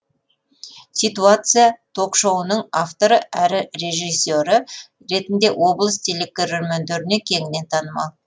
ситуация ток шоуының авторы әрі режиссері ретінде облыс телекөрермендеріне кеңінен танымал